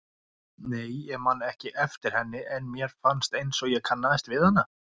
Nei, ég man ekki eftir henni en mér fannst einsog ég kannaðist við hana.